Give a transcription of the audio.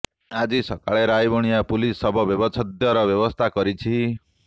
ଆଜି ସକାଳେ ରାଇବଣିଆ ପୁଲିସ୍ ଶବ ବ୍ୟବଚ୍ଛେଦର ବ୍ୟବସ୍ଥା କରିଛି